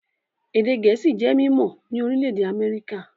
Èdè Gẹ̀ẹ́sì jẹ́ mímọ́ ní orílẹ̀-èdè Amẹ́ríkà